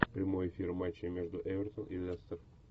прямой эфир матча между эвертон и лестер